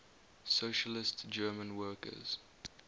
socialist german workers